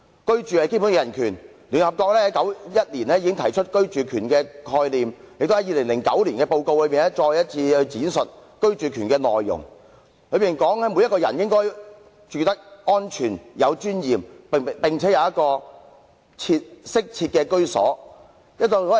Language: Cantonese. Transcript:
居住是基本人權，聯合國在1991年已經提出居住權的概念，並在2009年的報告中再次闡述居住權的內容，提出每個人也應該住得安全及有尊嚴，並有一個適切的居所。